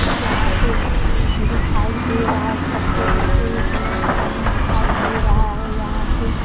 कुछ यहां पे दिखाई दे रहा है छत्ते जैसे यह कलर कलर में दिखाई दे रहा है यहां पे --